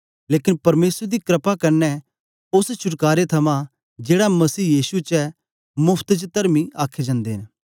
लेकन परमेसर दी क्रपा क्न्ने ओस छुटकारे थमां जेड़ा मसीह यीशु च ऐ मोफत च तरमी आखे जंदे न